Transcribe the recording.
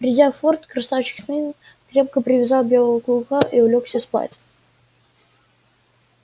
придя в форт красавчик смит крепко привязал белого клыка и улёгся спать